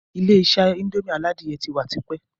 Ilé-isé indomie aládìyẹ ti wà tipẹ́